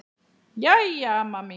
Jæja, amma mín.